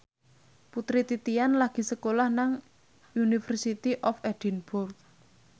Putri Titian lagi sekolah nang University of Edinburgh